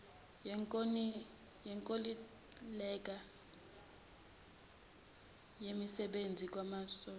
yenkontileka yensebenzo kwezamasosha